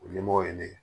O ɲɛmɔgɔ ye ne ye